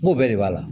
N ko bɛɛ de b'a la